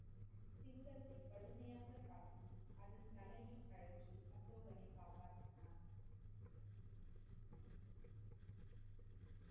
சிங்கத்தை கடுமையாக தாக்கி, அதின் தலையை கழற்றி அசோகனை காப்பாற்றினான்.